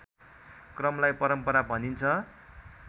क्रमलाई परम्परा भनिन्छ